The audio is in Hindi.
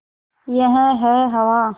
यह है हवा